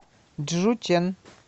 чжучэн